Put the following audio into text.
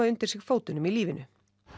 undir sig fótunum í lífinu